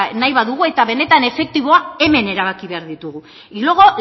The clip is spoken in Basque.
nahi badugu eta benetan efektiboa hemen erabaki behar ditugu y luego